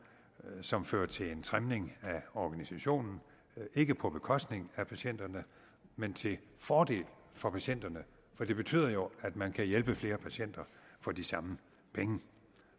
som fører til en trimning af organisationen ikke på bekostning af patienterne men til fordel for patienterne for det betyder jo at man kan hjælpe flere patienter for de samme penge